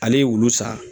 Ale ye wulu sa